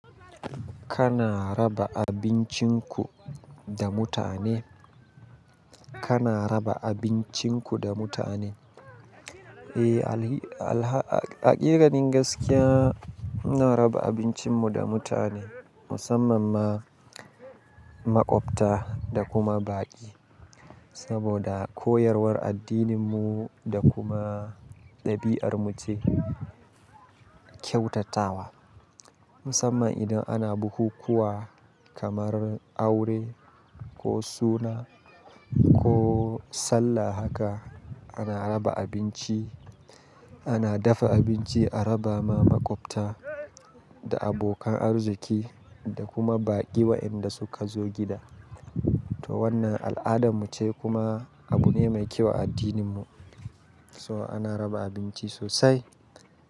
Kana raba abincinku da mutane? Kana raba abincinku da mutane? Eh, a iranin gaskiya muna raba abincinmu da mutane, musamman ma makwabta da kuma baƙi. Saboda koyarwar addininmu da kuma ɗabi'armu ce kyautatawa. Musamman idan ana bukukuwa kamar aure ko suna ko sallah haka ana raba abinci, ana dafa abinci a raba ma makwabta da abokan arziki da kuma baƙi wa'inda suka zo gida. To wannan al'adarmu ce kuma abu ne mai kyau a addininmu. So ana raba abinci sosai.